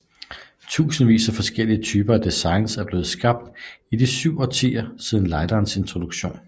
Tusindvis af forskellige typer og designs er blevet skabt i de 7 årtier siden lighterens introduktion